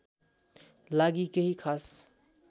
लागि केही खास